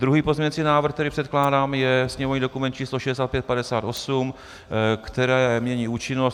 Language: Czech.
Druhý pozměňovací návrh, který předkládám, je sněmovní dokument č. 6558, který mění účinnost.